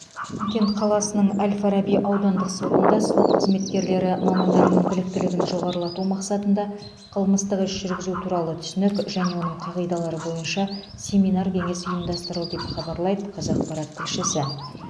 шымкент қаласының әл фараби аудандық сотында сот қызметкерлері мамандарының біліктілігін жоғарылату мақсатында қылмыстық іс жүргізу туралы түсінік және оның қағидалары бойынша семинар кеңес ұйымдастырылды деп хабарлайды қазақпарат тілшісі